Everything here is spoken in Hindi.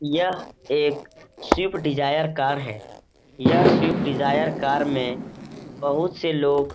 यह एक स्वीप डिज़ायर कार है। यह स्विफ्ट डिज़ायर कार में बहुत से लोग --